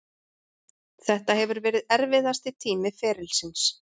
Þetta hefur verið erfiðasti tími ferilsins.